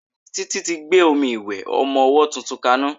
Títí tí gbé omi ìwẹ̀ ọmọ ọwọ́ tuntun ka ná.